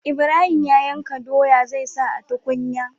Ibrahim ya yanka doya zai sa a tukunya